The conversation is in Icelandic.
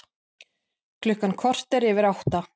Klukkan korter yfir átta